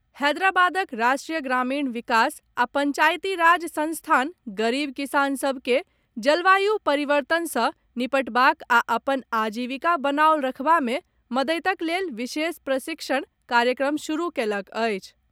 हैदराबादक राष्ट्रीय ग्रामीण विकास आ पंचायती राज संस्थान गरीब किसान सभ के जलवायु परिवर्तन सॅ निपटबाक आ अपन आजीविका बनाओल रखबा मे मददिक लेल विशेष प्रशिक्षण कार्यक्रम शुरू कएलक अछि।